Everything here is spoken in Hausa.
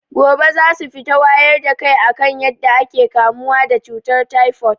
Gobe zasu fita wayar da kai akan yadda ake kamuwa da cutar taifot